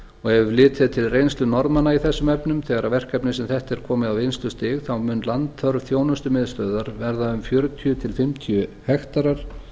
ef litið er til reynslu norðmanna í þessum efnum þegar verkefni eins og þetta er komið á vinnslustig þá mun landþörf þjónustumiðstöðvar verða um fjörutíu til fimmtíu hektarar